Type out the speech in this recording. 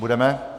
Budeme?